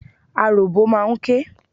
Aròbó máa ń ké.